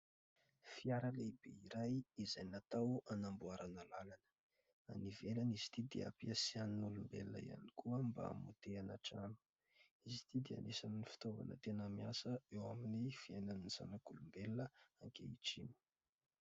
Fiara lehibe iray izay natao hanamboarana lalana. Any ivelany izy ity dia hampiasain'ny olombelona ihany koa mba hamotehana trano. Izy ity dia anisan'ny fitaovana tena miasa eo amin'ny fiainan'ny zanak'olombelona ankehitriny.